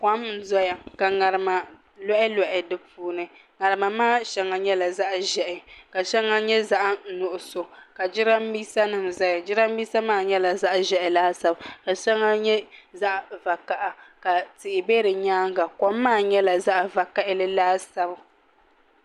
Kom n doya ka ŋarima lɔhi lɔhi di puuni ŋarima maa shɛŋa yɛla zaɣi zɛhi ka shɛŋa nyɛ zaɣi nuɣiso ka jiranbesa nima zaya jiranbesa maa yɛla zaɣi zɛhi laasabu ka shɛŋa nyɛ zaɣi vakaha ka tihi bɛ di yɛanga kom maa nyɛla zaɣi vakahali laasabu.